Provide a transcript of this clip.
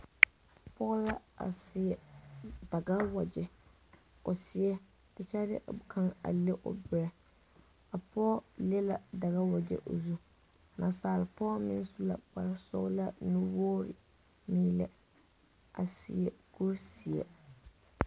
Pɔge la a seɛ Dagawagyɛ o seɛ kyɛ de kaŋa a le o berɛ a pɔge le la Dagawagyɛ o zu, nasaale pɔge meŋ su la kpare sɔgelaa nuwogiri meelɛ a seɛ kuri zeɛ.